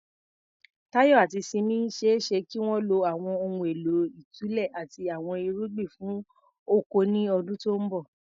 Tayo àti Simi ṣe é ṣe kí wọ́n lo àwọn ohun èlò ìtúlẹ̀ àti àwọn irugbin fún oko ní ọdún tó ń bọ̀.